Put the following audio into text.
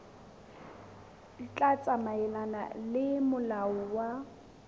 tla tsamaelana le molao wa